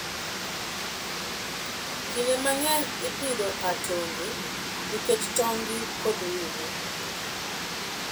Kinde mang'eny ipidho atonge nikech tong'gi kod ring'o.